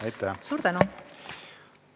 Aitäh!